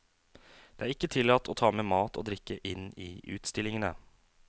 Det er ikke tillatt å ta med mat og drikke inn i utstillingene.